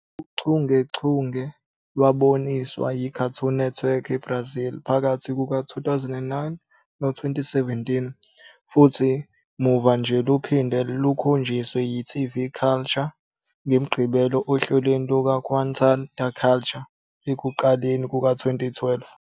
Lolu chungechunge lwaboniswa yiCartoon Network Brasil phakathi kuka-2009 no-2017, futhi muva nje luphinde lukhonjiswe yi-TV Cultura ngeMigqibelo ohlelweni lukaQuintal da Cultura ekuqaleni kuka-2012.